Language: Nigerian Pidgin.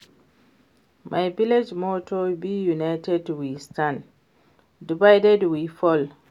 My village motto be united we stand, divided we fall